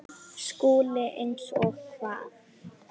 SKÚLI: Eins og hvað?